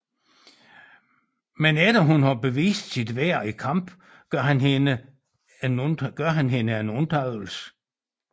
Men efter at hun har bevist sit værd i kamp gør han hende en undtagelse